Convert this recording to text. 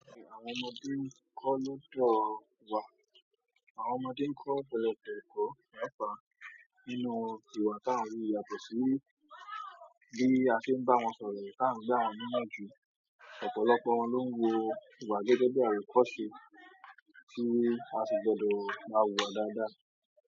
Àwọn ọmọdé ń kọ́ lóòdọ́ wà. Àwọn ọmọdé ń kọ́ ọ̀pọ̀lọpọ̀ ẹ̀kọ́ yàrá nínú ìwà tá ń rí yàtọ̀ sí bí a ti ń bá wọn sọ̀rọ̀ tá n gbà won niyan jù. Ọ̀pọ̀lọpọ̀ wọn ló ń wo ìwà gẹ́gẹ́ bí àri kọ́ ṣe tí a sì gbọdọ̀ má wùwá dáadáa.